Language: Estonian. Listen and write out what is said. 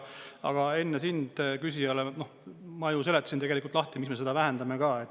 Aga enne sind küsijale ma ju seletasin tegelikult lahti, miks me seda vähendame ka.